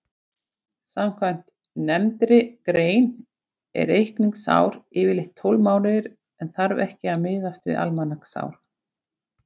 Samkvæmt nefndri grein er reikningsár yfirleitt tólf mánuðir en þarf ekki að miðast við almanaksár.